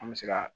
An bɛ se ka